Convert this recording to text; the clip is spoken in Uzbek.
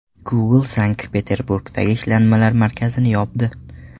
Google Sankt-Peterburgdagi ishlanmalar markazini yopdi.